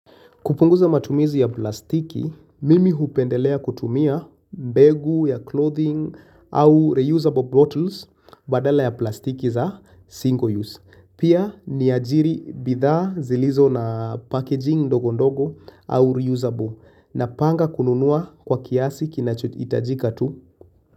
Kupunguza matumizi ya plastiki, mimi hupendelea kutumia mbegu ya clothing au reusable bottles badala ya plastiki za single use. Pia niajiri bidhaa zilizo na packaging ndogo ndogo au reusable napanga kununua kwa kiasi kinacho hitajika tu.